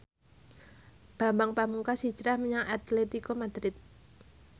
Bambang Pamungkas hijrah menyang Atletico Madrid